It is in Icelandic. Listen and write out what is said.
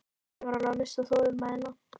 Stjáni var alveg að missa þolinmæðina.